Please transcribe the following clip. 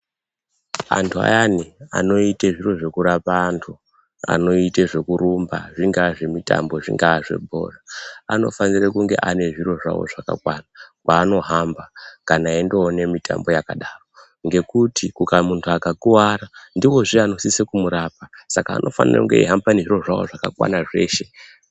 Antu ayani anoite zviro zvekurapa antu anoite zokurumba, zvingazvemitambo, zvingazvebhora. Anofanire kunge anezviro zvawo zvakakwana kwanohamba kana endowone mitambo yakadaro ngekuti akamuka akakuwara, ndiwo zve anosise kumurapa saka anosise kunge ayihambe nezviro zvawo zvese.